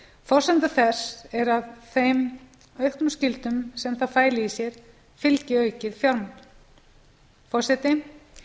forsenda þess er að þeim auknu skyldum sem það fæli í sér fylgi aukið fjármagn forseti